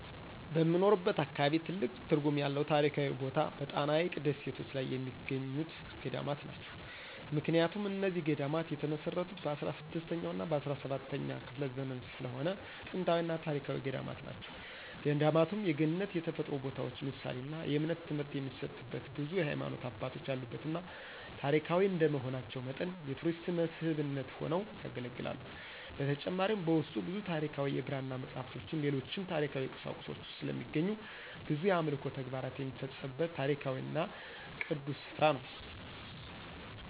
በምኖርበት አካባቢ ትልቅ ትርጉም ያለው ታሪካዊ ቦታ በጣና ሀይቅ ደሴቶች ላይ የሚገኙት ገዳማት ናቸው። ምክንያቱም እነዚህ ገዳማት የተመሰረቱት በ16ኛ እና በ17ኛ ክፍለ ዘመን ስለሆነ ጥንታዊና ታሪካዊ ገዳማት ናቸው። ገዳማቱም የገነት የተፈጥሮ ቦታዎች ምሳሌና የእምነት ትምህርት የሚሰጥበት ብዙ የሀይማኖት አባቶች ያሉበትና ታሪካዊ እንደመሆናቸው መጠን የቱሪስት መስህብነት ሆነው ያገለግላሉ። በተጨማሪም በውስጡ ብዙ ታሪካዊ የብራና መፅሃፍቶችን ሌሎችም ታሪካዊ ቁሳቁሶች ስለሚገኙ ብዙ የአምልኮ ተግባር የሚፈፀምበት ታሪካዊና ቅዱስ ስፍራ ነው።